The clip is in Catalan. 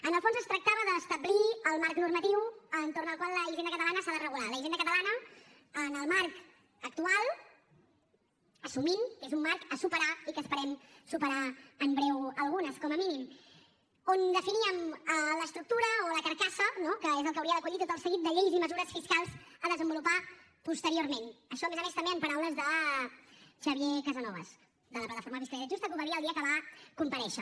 en el fons es tractava d’establir el marc normatiu entorn del qual la hisenda catalana s’ha de regular la hisenda catalana en el marc actual assumint que és un marc a superar i que esperem superar en breu algunes com a mínim on definíem l’estructura o la carcassa no que és el que hauria d’acollir tot el seguit de lleis i mesures fiscals a desenvolupar posteriorment això a més a més també en paraules de xavier casanovas de la plataforma per una fiscalitat justa que ho va dir el dia que va comparèixer